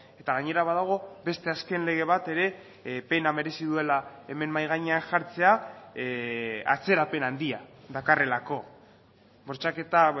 eta gainera badago beste azken lege bat ere pena merezi duela hemen mahai gainean jartzea atzerapen handia dakarrelako bortxaketa